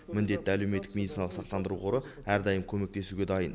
міндетті әлеуметтік медициналық сақтандыру қоры әрдайым көмектесуге дайын